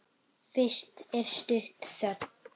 Fyrst er stutt þögn.